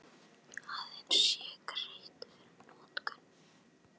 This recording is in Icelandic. Aðeins sé greitt fyrir notkun